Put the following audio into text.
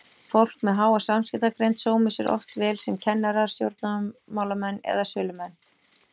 Fólk með háa samskiptagreind sómir sér oft vel sem kennarar, stjórnmálamenn eða sölumenn.